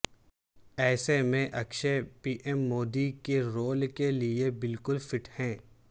ایسے میں Akshay P M Modi کے رول کے لئے بالکل فٹ ہیں